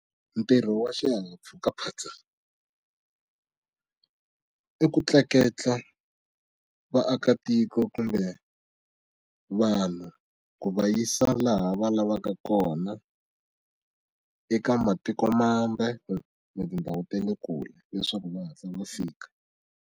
Ntirho wa xihahampfhuka phatsa i ku tleketla vaakatiko kumbe vanhu ku va yisa laha va lavaka kona eka matikomambe na tindhawu ta le kule leswaku va hatla va fika.